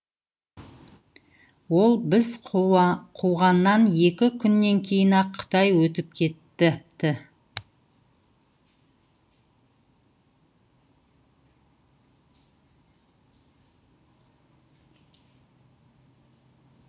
ол біз қуғаннан екі күннен кейін ақ қытай өтіп кетіпті